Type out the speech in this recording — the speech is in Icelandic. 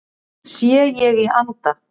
Sé ég í anda